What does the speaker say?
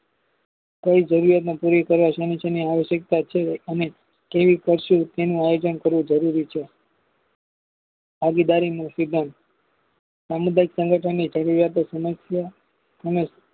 કઈ જરૂરિયાતને પુરી કરવા શેની શેની આવશ્યકતાછે અને કેવી કરશું તેનું આયોજન કરવું જરૂરી છે. ભાગીદારીનો સિદ્ધાંત સામુદાયિક સંગઠન ની જરૂરિયાતો સમસ્યા સમય